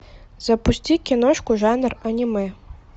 запусти киношку жанр аниме